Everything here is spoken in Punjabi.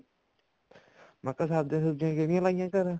ਮੈਂ ਕਿਹਾ ਸਬਜੀਆਂ ਸੁਬ੍ਜੀਆਂ ਕਿਹੜੀਆਂ ਲਾਈਆਂ ਘਰੇ